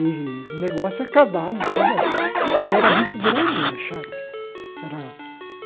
E o negócio é cavalo, tudo porque era muito grande a chácara era.